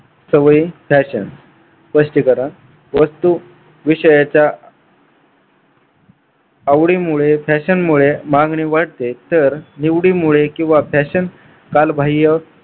सवय fashion स्पष्टीकरण वस्तू विषयाच्या आवडीमुळे fashion मुळे मागणी वाढते तर निवडीमुळे किंवा fashion कालबाह्य